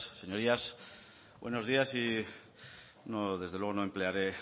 señorías buenos días desde luego no emplearé